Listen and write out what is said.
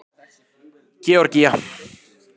Georgía